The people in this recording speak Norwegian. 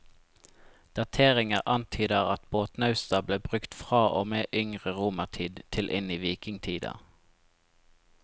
Dateringer antyder at båtnausta ble brukt fra og med yngre romertid til inn i vikingtida.